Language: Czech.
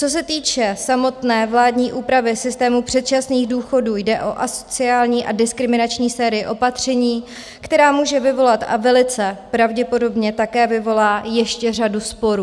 Co se týče samotné vládní úpravy systému předčasných důchodů, jde o asociální a diskriminační sérii opatření, která může vyvolat a velice pravděpodobně také vyvolá ještě řadu sporů.